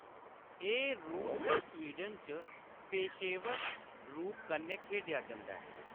एह्‌‌ रूस ते स्वीडन च पेशेवर रूप कन्नै खेढेआ जंदा ऐ।